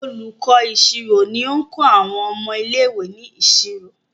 Olùkó ìṣirò ní nkọ àwọn ọmọ ilé ìwé ní ìṣòro.